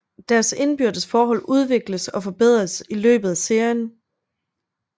Deres indbyrdes forhold udvikles og forbedres i løbet af serien